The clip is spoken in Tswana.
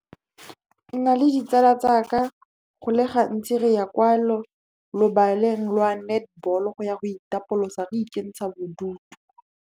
Nna le ditsala tsaka, go le gantsi re ya kwa lobaleng la netball go ya go itapolosa, re ikentsha bodutu.